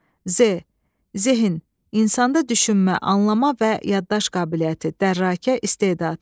Z, Zehin, insanda düşünmə, anlama və yaddaş qabiliyyəti, dərrakə, istedad.